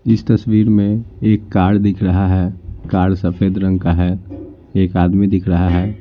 इस तस्वीर में एक कार दिख रहा है कार सफ़ेद रंग का है एक आदमी दिख रहा है।